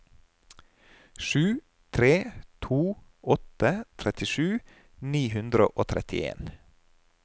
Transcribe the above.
sju tre to åtte trettisju ni hundre og trettien